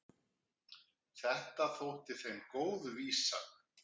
Þetta þótti þeim góð vísa.